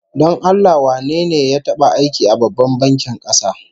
Don Allah wane ne ya taba aiki a Babban bankin kasa?